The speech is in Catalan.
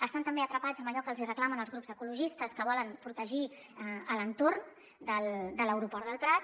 estan també atrapats en allò que els hi reclamen els grups ecologistes que volen protegir l’entorn de l’aeroport del prat